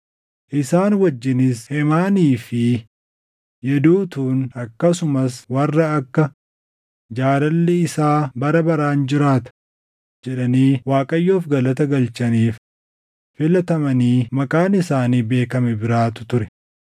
Isaan wajjinis Heemaanii fi Yeduutuun akkasumas warra akka, “Jaalalli isaa bara baraan jiraata” jedhanii Waaqayyoof galata galchaniif filatamanii maqaan isaanii beekame biraatu ture.